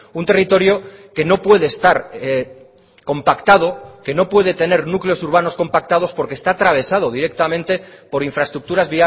un territorio que no puede estar compactado que no puede tener núcleos urbanos compactados porque está atravesado directamente por infraestructuras